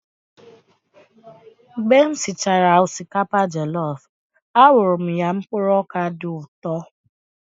Mgbe m sichara osikapa jọlọf, a wụrụ m ya mkpụrụ ọkà dị ụtọ.